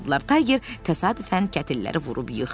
Tayger təsadüfən kətilləri vurub yıxdı.